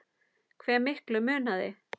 Hve miklu munaði?